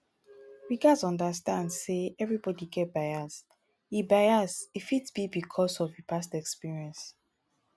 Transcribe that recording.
we gats understand sey everybody get bias e bias e fit be because of past experience